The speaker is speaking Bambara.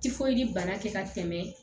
bana kɛ ka tɛmɛ